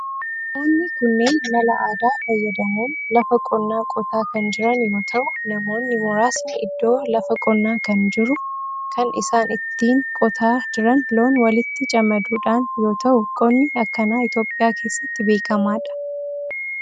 Namoonni kunneen mala aadaa fayyadamun lafa qonnaa qotaa kan jiran yoo ta'u namoonni muraasni iddoo lafa qonnaa kan jiru. kan isaan ittiin qotaa jiran loon walitti camaduudhan yoo ta'u qonni akkanaa Itiyoophiyaa keessatti beekamadha.